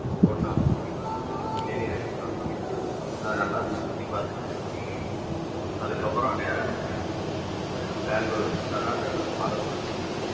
தோட்டம் இருக்கும் தேனீர் எடுக்கிற தோட்டம் அதை நல்லா நம்ம சுத்தி பார்த்துட்டு அதுக்கப்புறம் நேரா பெங்களூர் கர்னாட்டக்கா boarder குள்ள போங்க